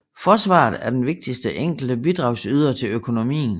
Forsvaret er den vigtigste enkelte bidragsyder til økonomien